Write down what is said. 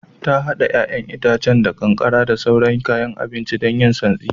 Ta hada 'ya'yan itacen da kankara da sauran kayan abinci don yin santsi